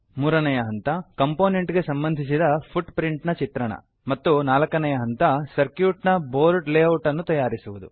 ಮೂರನೆಯ ಹಂತ ಕಂಪೋನೆಂಟ್ ಗೆ ಸಂಬಂಧಿಸಿದ ಫುಟ್ಪ್ರಿಂಟ್ ನ ಚಿತ್ರಣ ಮತ್ತು ನಾಲ್ಕನೆಯ ಹಂತ ಸರ್ಕ್ಯೂಟ್ ನ ಬೊರ್ಡ್ ಲೇಔಟ್ ಅನ್ನು ತಯಾರಿಸುವುದು